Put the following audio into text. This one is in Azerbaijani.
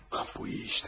Bu iyi işte.